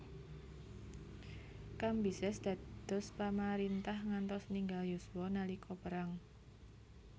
Kambises dados pamarintah ngantos ninggal yuswa nalika perang